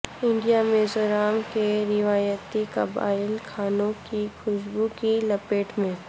India Mizoram کے روایتی قبائلی کھانوں کی خوشبو کی لپیٹ میں